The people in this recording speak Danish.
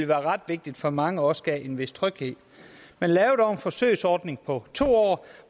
var ret vigtigt for mange og også gav en vis tryghed man lavede dog en forsøgsordning på to år